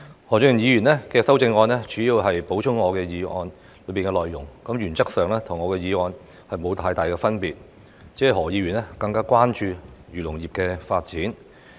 何俊賢議員的修正案主要是補充我的議案內容，原則上與我的議案沒有太大分別，他只是更關注漁農業的發展。